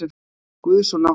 Guðs og náttúru.